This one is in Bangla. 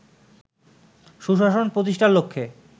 সুশাসন প্রতিষ্ঠার লক্ষ্যে